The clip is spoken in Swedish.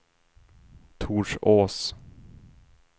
Torsås